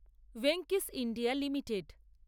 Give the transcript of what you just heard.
Venky's India limited